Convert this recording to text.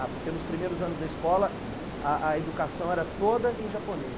Ah, porque nos primeiros anos da escola, hm, a a educação era toda em japonês.